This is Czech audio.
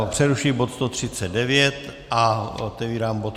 Ano, přerušuji bod 139 a otevírám bod